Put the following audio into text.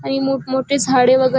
आणि मोठ मोठे झाडे वगैरे --